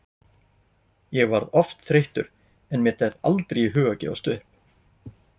Ég varð oft þreyttur en mér datt aldrei í hug að gefast upp.